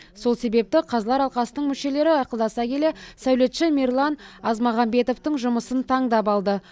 сол себепті қазылар алқасының мүшелері ақылдаса келе сәулетші мирлан азмағамбетовтің жұмысын таңдап алды